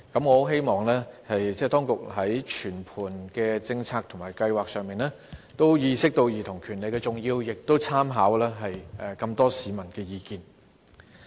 我希望當局在全盤的政策和計劃上，意識到兒童權利的重要，並參考多位市民的意見。